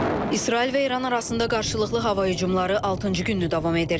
İsrail və İran arasında qarşılıqlı hava hücumları altıncı gündür davam edir.